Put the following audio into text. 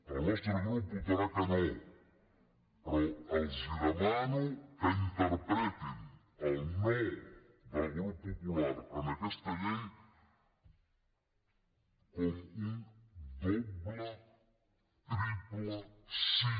el nostre grup votarà que no però els demano que interpretin el no del grup popular a aquesta llei com un doble triple sí